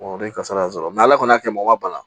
o de ye kasara sɔrɔ ala kɔni y'a kɛ mɔgɔ ma bana